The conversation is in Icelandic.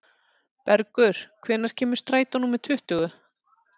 Bergur, hvenær kemur strætó númer tuttugu?